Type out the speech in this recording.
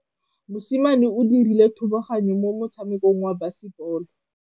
Mosimane o dirile thubaganyô mo motshamekong wa basebôlô.